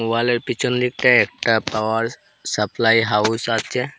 ওয়ালের পেছন দিকটা একটা পাওয়ার সাপ্লাই হাউস আছে।